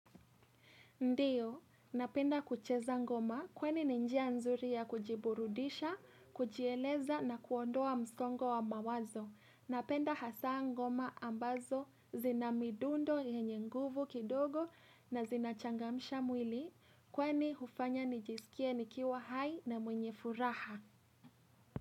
Ndiyo, napenda kucheza ngoma. Kwani ni njia nzuri ya kujiburudisha, kujieleza na kuondoa msongo wa mawazo. Napenda hasa ngoma ambazo zina midundo yenye nguvu kidogo na zina changamsha mwili. Kwani hufanya nijisikie nikiwa hai na mwenye furaha.